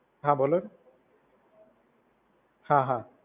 હા બોલોને હા હા.